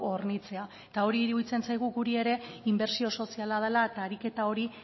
hornitzea eta hori iruditzen zaigu guri ere inbertsio soziala dela eta ariketa hori